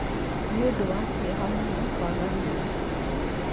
Nĩ ũndũ wa kĩeha mũno kwaga wĩra